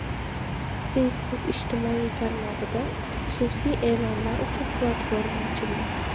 Facebook ijtimoiy tarmog‘ida xususiy e’lonlar uchun platforma ochildi.